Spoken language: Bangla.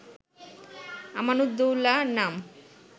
আমানুদ্দৌলা নাম